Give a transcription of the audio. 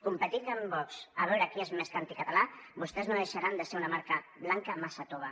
competint amb vox a veure qui és més anticatalà vostès no deixaran de ser una marca blanca massa tova